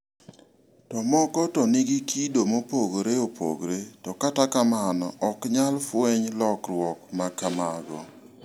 To moko to nigi kido mopogore opogore, to kata kamano ok nyal fweny lokruok ma kamago.